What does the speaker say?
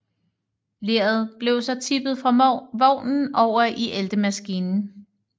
Leret blev så tippet fra vognen over i æltemaskinen